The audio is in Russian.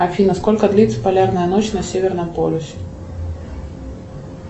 афина сколько длится полярная ночь на северном полюсе